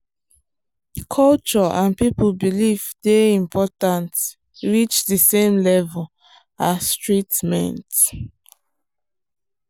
culture and people belief dey important reach the same level as treatment.